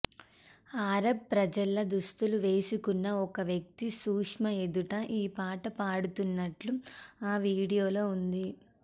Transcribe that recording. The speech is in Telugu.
అరబ్ ప్రజల్లా దుస్తులు వేసుకున్న ఒక వ్యక్తి సుష్మా ఎదుట ఈ పాట పాడుతున్నట్లు ఆ వీడియోలో ఉంది